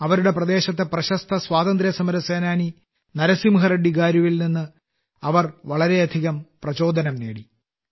അവരുടെ പ്രദേശത്തെ പ്രശസ്ത സ്വാതന്ത്ര്യസമര സേനാനി നരസിംഹറെഡ്ഡി ഗാരുവിൽ നിന്ന് അവർ വളരെയധികം പ്രചോദനം നേടിയിട്ടുണ്ട്